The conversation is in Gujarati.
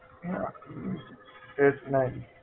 હા છે જ નહીં